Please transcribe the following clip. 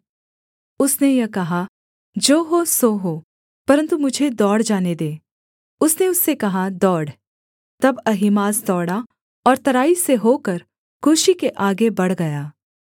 उसने यह कहा जो हो सो हो परन्तु मुझे दौड़ जाने दे उसने उससे कहा दौड़ तब अहीमास दौड़ा और तराई से होकर कूशी के आगे बढ़ गया